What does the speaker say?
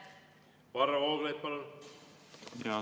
Varro Vooglaid, palun!